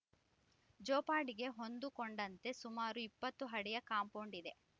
ಜೋಪಾಡಿಗೆ ಹೊಂದಿಕೊಂಡಂತೆ ಸುಮಾರು ಇಪ್ಪತ್ತು ಅಡಿಯ ಕಾಂಪೌಂಡ್‌ ಇದೆ